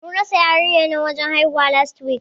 Mun rasa yarinyar nan wajen haihuwa, last week.